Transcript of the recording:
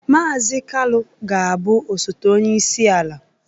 Mazị Kalu ga-abụ osote onye isi ala